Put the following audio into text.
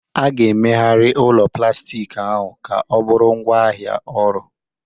A ga-emegharị ụlọ plastik ahụ ka ọ bụrụ ngwaahịa ọhụrụ.